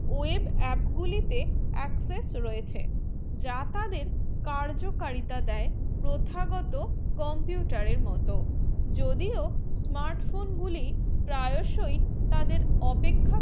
web app গুলি তে access রয়েছে যা তাদের কার্য কারিতা দায়ে প্রত্যাগ্রত computer মতো যদি ও smart phone গুলি প্রাসয়ী তাদের অপেক্ষা